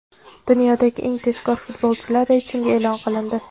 Dunyodagi eng tezkor futbolchilar reytingi e’lon qilindi.